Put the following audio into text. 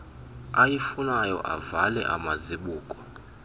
ayifunayo avale amazibuko